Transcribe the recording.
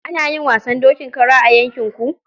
Ana yin wasan dokin kara a yankin ku?